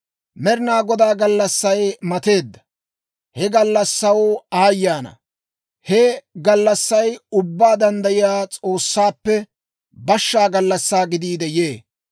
Med'inaa Godaa gallassay mateedda; he gallassaw aayye ana! He gallassay Ubbaa Danddayiyaa S'oossaappe bashshaa gallassaa gidiide yee.